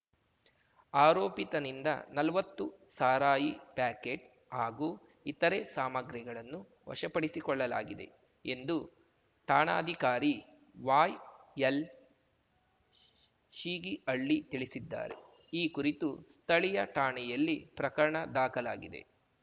ಆರೋಪಿತನಿಂದ ನಲ್ವತ್ತು ಸಾರಾಯಿ ಪ್ಯಾಕೆಟ್ ಹಾಗೂ ಇತರೆ ಸಾಮಾಗ್ರಿಗಳನ್ನು ವಶಪಡಿಸಿಕೊಳ್ಳಲಾಗಿದೆ ಎಂದು ಠಾಣಾಧಿಕಾರಿ ವಾಯ್ಎಲ್ಶ್ ಶೀಗಿಹಳ್ಳಿ ತಿಳಿಸಿದ್ದಾರೆ ಈ ಕುರಿತು ಸ್ಥಳೀಯ ಠಾಣೆಯಲ್ಲಿ ಪ್ರಕರಣ ದಾಖಲಾಗಿದೆ